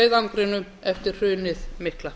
mestu björgunarleiðangrinum eftir hrunið mikla